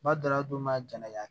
Ba daladonna jala